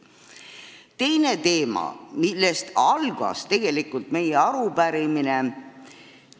Teine teema, millest tegelikult meie arupärimine alguse sai.